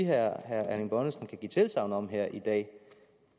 herre erling bonnesen kan give tilsagn om her i dag